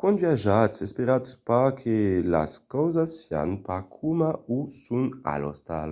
quand viatjatz esperatz pas que las causas sián pas coma o son a l'ostal".